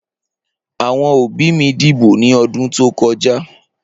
Awọn obi mi dibo ni ọdun to kọja.